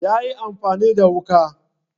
yayi amfani da wuka